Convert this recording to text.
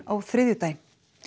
á þriðjudaginn